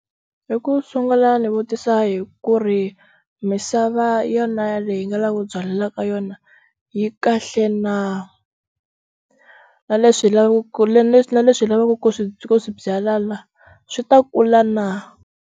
I ku sungula ndzi vutisa hi ku ri misava yona yaleyi hi nga lava ku byalela ka yona yi kahle na na leswi hi lavaka na leswi hi lavaka ku swi ku swi byala la swi ta kula na.